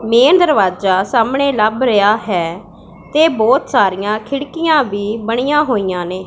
Main ਦਰਵਾਜਾ ਸਾਹਮਣੇ ਲੱਭ ਰਿਹਾ ਹੈ ਤੇ ਬਹੁਤ ਸਾਰੀਆਂ ਖਿੜਕੀਆਂ ਵੀ ਬਣੀਆਂ ਹੋਈਆਂ ਨੇ।